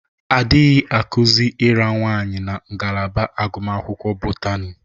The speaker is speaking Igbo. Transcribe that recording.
Adịghị ira nwaanyị na ngalaba agụmakwụkwọ Botani.